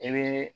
I bɛ